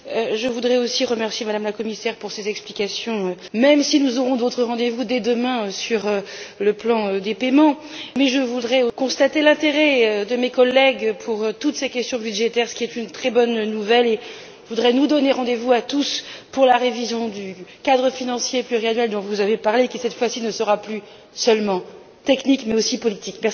Je voudrais aussi remercier Mme la commissaire pour ses explications, même si nous aurons d'autres rendez vous dès demain sur le plan des paiements. Je constate aussi l'intérêt de mes collègues pour toutes ces questions budgétaires ce qui est une très bonne nouvelle et je voudrais nous donner rendez vous à tous pour la révision du cadre financier pluriannuel dont vous avez parlé qui, cette fois ci, ne sera plus seulement technique mais aussi politique.